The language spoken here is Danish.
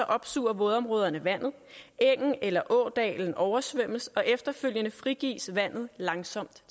opsuger vådområderne vandet engen eller ådalen oversvømmes og efterfølgende frigives vandet langsomt